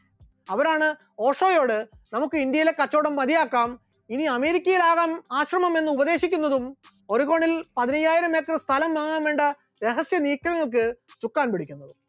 അവരാണ് ഓഷോയോട് നമുക്ക് ഇന്ത്യയിലെ കച്ചോടം മതിയാക്കാം, ഇനി അമേരിക്കയിൽ ആകാം ആശ്രമം എന്ന് ഉപദേശിക്കുന്നതും ഒരു കോണിൽ പതിനയ്യായിരം acre സ്ഥലം വാങ്ങാൻ വേണ്ട രഹസ്യ നീക്കങ്ങൾക്ക് ചുക്കാൻ പിടിക്കുന്നതും